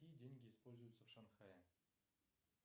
какие деньги используются в шанхае